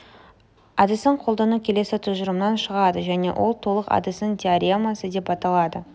әдісін қолдану келесі тұжырымнан шығады және ол толық әдісінің теоремасы деп аталады